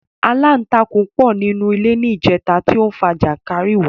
Aláǹtakùn pọ ní inú ilé ní ìjẹta tí ó fa jànkárìwọ̀